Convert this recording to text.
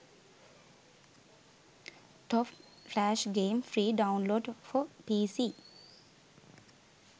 top flash games free download for pc